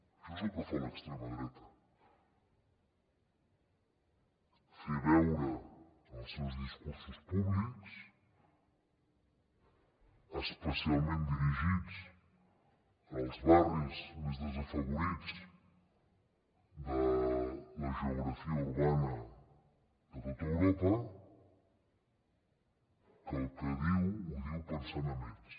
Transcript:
això és el que fa l’extrema dreta fer veure en els seus discursos públics especialment dirigits als barris més desafavorits de la geografia urbana de tot europa que el que diu ho diu pensant en ells